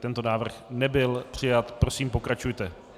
Tento návrh nebyl přijat, prosím pokračujte.